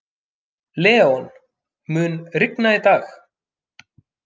Leon, mun rigna í dag?